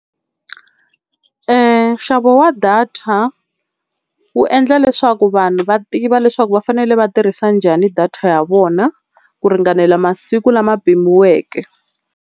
Nxavo wa data wu endla leswaku vanhu va tiva leswaku va fanele va tirhisa njhani data ya vona ku ringanela masiku lama pimiweke.